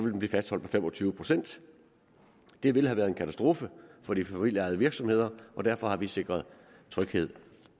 den blive fastholdt på fem og tyve procent det ville have været en katastrofe for de familieejede virksomheder og derfor har vi sikret tryghed